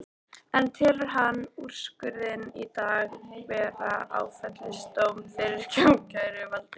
En telur hann úrskurðinn í dag vera áfellisdóm fyrir ákæruvaldið?